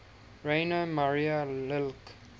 rainer maria rilke